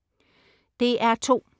DR2: